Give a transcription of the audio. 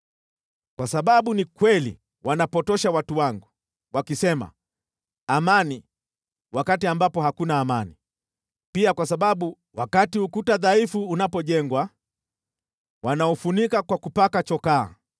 “ ‘Kwa sababu ni kweli wanapotosha watu wangu, wakisema, “Amani,” wakati ambapo hakuna amani, pia kwa sababu, wakati ukuta dhaifu unapojengwa, wanaufunika kwa kupaka chokaa,